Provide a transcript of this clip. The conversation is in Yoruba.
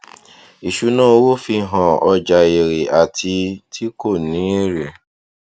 ìṣúná owó fi hàn ọjà èrè àti ti kò ní èrè